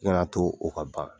I Kana to o ka ban.